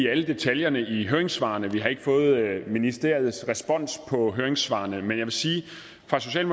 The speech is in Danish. alle detaljerne i høringssvarene vi har ikke fået ministeriets respons på høringssvarene men jeg vil sige